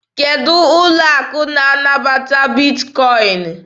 Kedụ ụlọ akụ na-anabata Bitkọin?